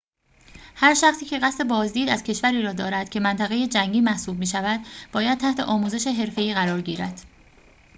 هر شخصی که قصد بازدید از کشوری را دارد که منطقه جنگی محسوب می‌شود باید تحت آموزش حرفه‌ای قرار گیرد